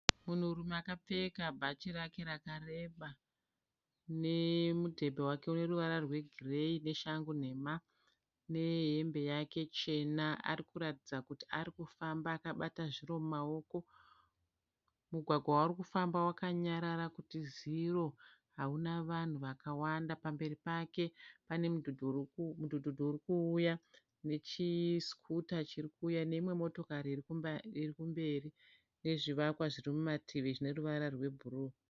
Munhurume akapfeka bhachi rake rakareba nemudhebhe wake une ruvara rwegireyi, neshangu nhema nehembe yake chena, arikuratidza kuti arikufamba akabata zviro mumaoko, mugwagwa waari kufamba wakanyarara kuti ziro hauna vanhu vakawanda, pamberi pake pane mudhudhudhu uri kuuya nechisikuta chiri kuuya neimwe motokari iri kumberi nezvivakwa zviri mumativi zvine ruvara rwebhuruu.